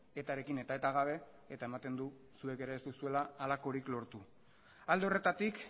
eta rekin eta eta gabe eta ematen du zuek ere ez duzuela halakorik lortu alde horretatik